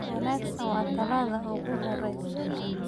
Wanagsan waa talaabada ugu horeysa.